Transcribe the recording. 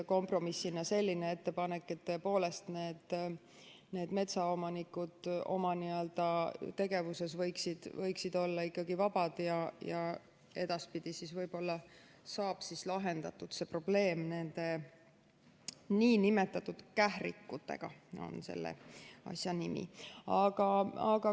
Kompromissina jäi selline ettepanek, et metsaomanikud oma tegevuses võiksid olla vabad ja edaspidi võib-olla saab lahendatud probleem nende nn kährikutega, nagu on selle asja nimi.